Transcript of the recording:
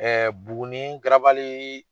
Buguni garabali